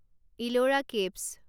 Ellora caves